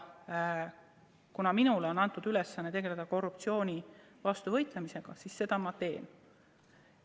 Kuna minule on antud ülesanne tegeleda korruptsiooni vastu võitlemisega, siis seda ma teen.